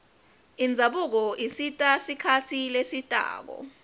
indzabuko isita sikhatsi lesitako